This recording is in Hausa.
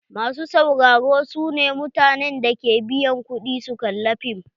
Masu sauraro su ne mutanen da ke biyan ƙudi su kalla fim.